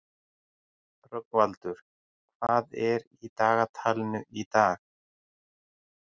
Rögnvaldur, hvað er í dagatalinu í dag?